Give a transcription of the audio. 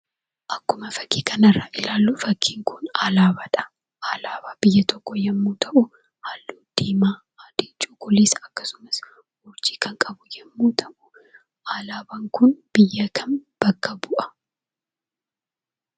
Akkuma fakki kanarraa arginu, fakkin kun alaabaadha. Alaabaa biyya tokkoo yeroo ta'u, haallu diimaa, adii, cuquliisa akkasumasurjii kan qabudha. Alaabaan kun biyya kam bakka bu'a?